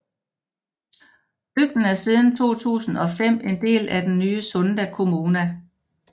Bygden er siden 2005 en del af den nye Sunda kommuna